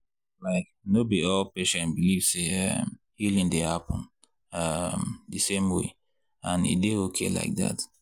like no be all patients believe say um healing dey happen um the same way and e dey okay like that.